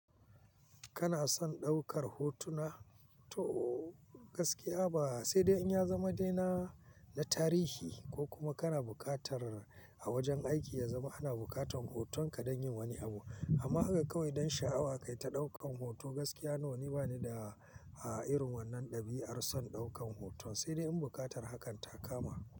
Kana son ɗaukar hotuna? To gaskiya ba sai dai in ya zama dena na tarihi ko kuma kana bukatar a wajen aiki ya zama ana bukatar hotonka don yin wani abu. Amma haka kawai dan sha'awa kai ta ɗaukan hoto gaskiya no ni bani da a irin wannan ɗabi'ar son ɗaukan hoton sai dai in bukatar hakan ta kama.